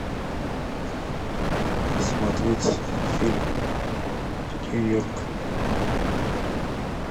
смотреть фильм нью йорк